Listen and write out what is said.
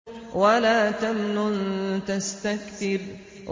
وَلَا تَمْنُن تَسْتَكْثِرُ